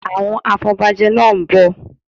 Àwọn afọbajẹ náá ń bọ̀